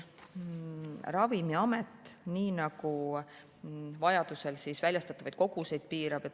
Ravimiamet vajadusel väljastatavaid koguseid piirab.